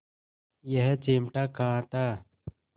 यह चिमटा कहाँ था